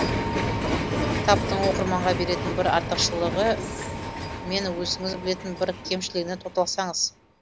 кітаптың оқырманға беретін бір артықшылығы мен өзіңіз білетін бір кемшілігіне тоқталсаңыз